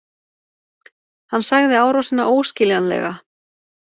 Hann sagði árásina óskiljanlega